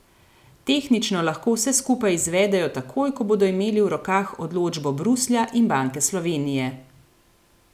Tehnično lahko vse skupaj izvedejo takoj, ko bodo imeli v rokah odločbo Bruslja in Banke Slovenije.